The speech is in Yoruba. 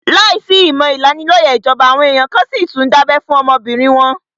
Láìsí ìmọ̀ ìlanilóyẹ̀ ìjọba, àwọn èèyàn kan n síi tún dábẹ́ fún àwọn ọmọbìnrin wọn